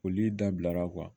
Olu dabilara